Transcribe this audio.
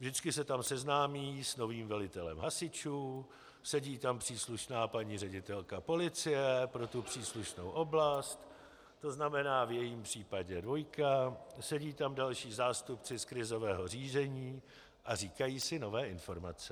Vždycky se tam seznámí s novým velitelem hasičů, sedí tam příslušná paní ředitelka policie pro tu příslušnou oblast, to znamená v jejím případě dvojka, sedí tam další zástupci z krizového řízení a říkají si nové informace.